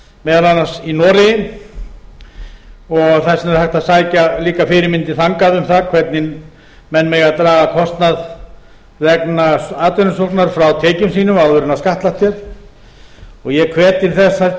meðal annars í noregi og þess vegna er hægt að sækja fyrirmyndir þangað um hvernig menn megi draga kostnað vegna atvinnusóknar frá tekjum sínum áður en skattlagt er og ég hvet til þess hæstvirtur